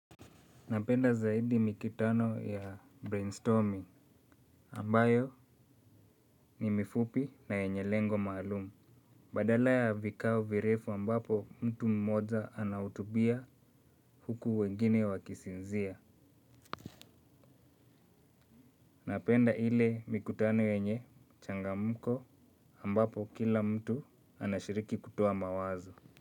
Napenda zaidi mikitano ya brainstorming ambayo ni mifupi na yenye lengo maalumu. Badala ya vikao virefu ambapo mtu mmoja anahutubia huku wengine wakisinzia. Napenda ile mikutano yenye changamko ambapo kila mtu anashiriki kutoa mawazo.